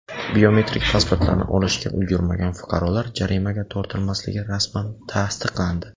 Biometrik pasportlarni olishga ulgurmagan fuqarolar jarimaga tortilmasligi rasman tasdiqlandi.